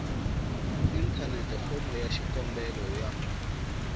inthanete fomo ya xikombelo ya